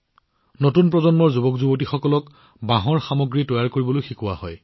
নতুন প্ৰজন্মৰ যুৱকযুৱতীসকলক বাঁহৰ সামগ্ৰী তৈয়াৰ কৰিবলৈও শিকোৱা হয়